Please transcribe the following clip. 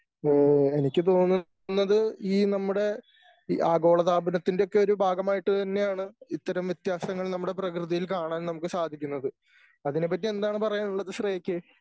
ഉം എനിക്ക് തോന്നുന്നത് ഈ നമ്മുടെ ഈ ആഗോളതാപനത്തിൻ്റെ ഒക്കെ ഒരു ഭാഗമായിട്ട് തന്നെയാണ് ഇത്തരം വ്യത്യാസങ്ങൾ നമ്മുടെ പ്രകൃതിയിൽ കാണാൻ നമുക്ക് സാധിക്കുന്നത്. അതിനെ പറ്റി എന്താണ് പറയാനുള്ളത് ശ്രേയക്ക്